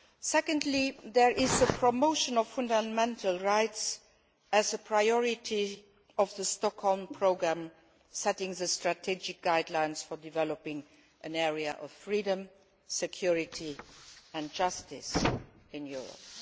Secondly, there is the promotion of fundamental rights as a priority of the Stockholm Programme, setting the strategic guidelines for developing an area of freedom, security and justice in Europe.